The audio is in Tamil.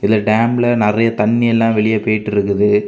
இதுல டேம்ல நெறயா தண்ணி எல்லாம் வெளிய பெய்ட்டு இருக்குது.